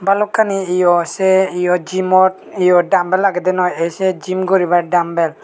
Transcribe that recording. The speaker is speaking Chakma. balokkani yo sei yo jimot yo dambel agedey noi ei sei jim guribar dambel .